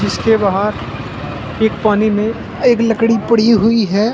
इसके बाहर एक पानी में एक लकड़ी पड़ी हुई है।